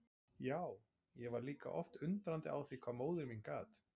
Já, ég var líka oft undrandi á því hvað móðir mín gat.